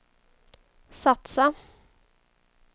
satsa